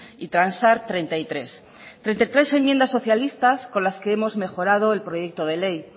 y transar treinta y tres treinta y tres enmiendas socialistas con las que hemos mejorado el proyecto de ley